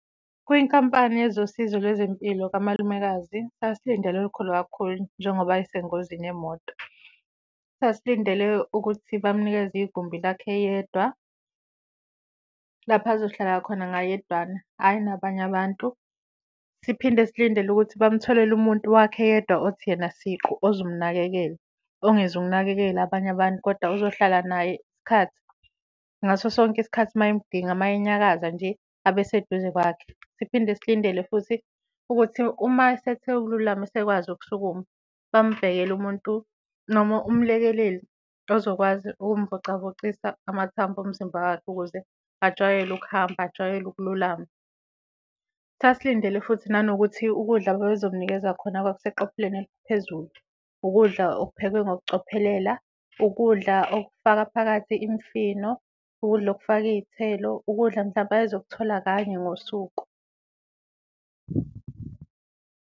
Kwinkampani yezosizo lwezempilo kamalumekazi sasilindele olukhulu kakhulu njengoba ayese ngozini yemoto. Sasilindele ukuthi bamnikeze igumbi lakhe yedwa lapho azohlala khona ngayedwana, hhayi nabanye abantu. Siphinde silindele ukuthi bamtholele umuntu wakhe yedwa othi yena siqu ozomnakekela, ongeze ukunakekela abanye abantu, kodwa uzohlala naye isikhathi, ngaso sonke isikhathi mayemdinga, mayenyakaza nje abe seduze kwakhe. Siphinde silindele futhi ukuthi uma esethe ukululama esekwazi ukusukuma bambhekele umuntu noma umlekeleli ozokwazi ukumvocavocisa amathambo omzimba wakhe ukuze ajwayele ukuhamba, ajwayele ukululama. Sasilindele futhi nanokuthi ukudla ababe zomnikeza khona kwakuseqophelweni eliphezulu, ukudla okuphekwe ngokucophelela, okudla okufaka phakathi imfino, ukudla okufaka iy'thelo, ukudla mhlampe ayezokuthola kanye ngosuku.